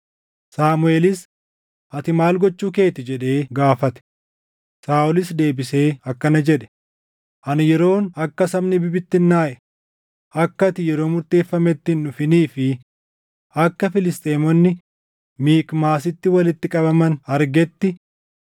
Saamuʼeel, “Ati maal gochuu kee ti?” jedhee gaafate. Saaʼolis deebisee akkana jedhe; “Ani yeroon akka sabni bibittinnaaʼe, akka ati yeroo murteeffametti hin dhufinii fi akka Filisxeemonni Mikmaasitti walitti qabaman argetti,